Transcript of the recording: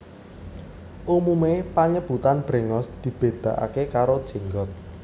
Umume panyebutan brengos dibedakake karo jenggot